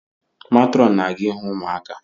Matrọn na-aga ihu ụmụaka